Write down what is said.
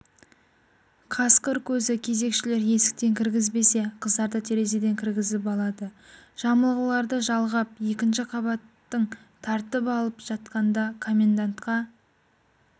қасқыр көзі кезекшілер есіктен кіргізбесе қыздарды терезеден кіргізіп алады жамылғыларды жалғап екінші қабаттың тартып алып жатқанда комендантқа